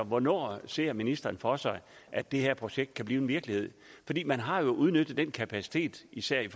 hvornår ser ministeren for sig at det her projekt kan blive virkelighed man har jo udnyttet den kapacitet især i